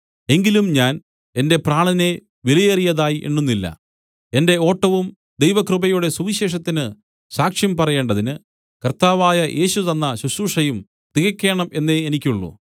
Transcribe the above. എങ്കിലും ഞാൻ എന്റെ പ്രാണനെ വിലയേറിയതായി എണ്ണുന്നില്ല എന്റെ ഓട്ടവും ദൈവകൃപയുടെ സുവിശേഷത്തിന് സാക്ഷ്യം പറയേണ്ടതിന് കർത്താവായ യേശു തന്ന ശുശ്രൂഷയും തികയ്ക്കേണം എന്നേ എനിക്കുള്ളൂ